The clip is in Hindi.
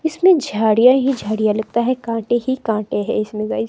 इसमें झड़ियां ही झाड़ियां लगता है काटे ही कांटे है इसमें गाइस --